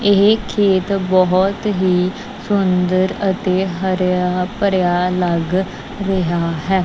ਇਹ ਖੇਤ ਬਹੁਤ ਹੀ ਸੁੰਦਰ ਅਤੇ ਹਰਿਆ ਭਰਿਆ ਲੱਗ ਰਿਹਾ ਹੈ।